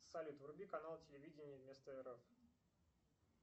салют вруби канал телевидение вместо рф